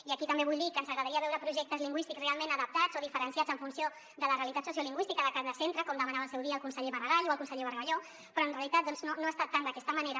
i aquí també vull dir que ens agradaria veure projectes lingüístics realment adaptats o diferenciats en funció de la realitat sociolingüística de cada centre com demanava al seu dia el conseller maragall o el conseller bargalló però en realitat no ha estat tant d’aquesta manera